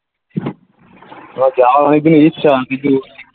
আমার যাওয়ার অনেকদিনের ইচ্ছা কিন্তু